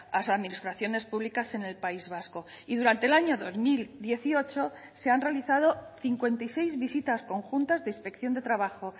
las administraciones públicas en el país vasco y durante el año dos mil dieciocho se han realizado cincuenta y seis visitas conjuntas de inspección de trabajo